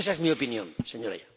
Esa es mi opinión, Señorías.